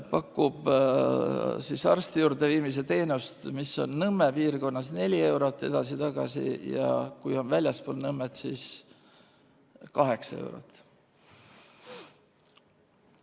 ... pakub siis arsti juurde viimise teenust, mis on Nõmme piirkonnas 4 eurot edasi-tagasi ja kui on väljaspool Nõmmet, siis 8 eurot.